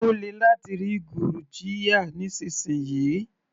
Ó lè láti rí gurjiya nísìnsisìyí.